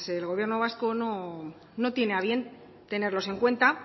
el gobierno vasco no tiene a bien tenerlos en cuenta